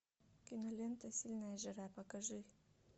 кинолента сильная жара покажи